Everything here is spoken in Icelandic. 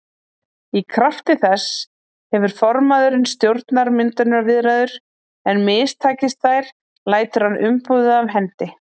Í krafti þess hefur formaðurinn stjórnarmyndunarviðræður en mistakist þær lætur hann umboðið af hendi.